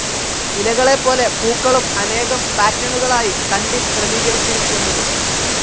ഇലകളെപോലെ പൂക്കളും അനേകം പാറ്റെണുകളായി തണ്ടിൽ ക്രമീകരിച്ചിരിക്കുന്നത്.